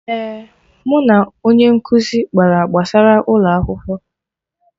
Eh, mụ na onye nkụzi kpara gbasara ụlọ akwụkwọ